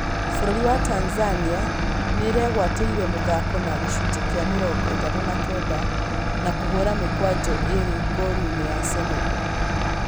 Bũrũri wa Tanzania nĩĩregwatĩire mũthako na gĩcunjĩ kĩa mĩrongo ĩtatũ na kenda, na kũhũra mĩkwanjo ĩrĩ ngolu-inĩ ya Senegal